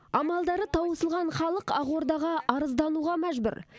амалдары таусылған халық ақордаға арыздануға мәжбүр